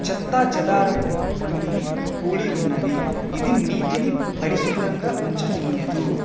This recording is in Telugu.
చెత్తా చదరము వంటివి కూడి ఉన్నవి. ఇది నీటిని పరిశుబ్రముగా ఉంచనీయదు.